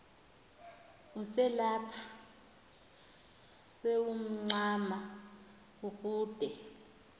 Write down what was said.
uselapha sewuncama kukude